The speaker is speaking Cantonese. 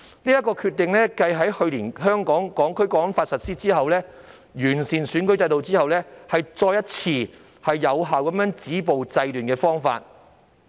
這是繼去年開始實施《香港國安法》及完善選舉制度後，另一個有效止暴制亂的方法。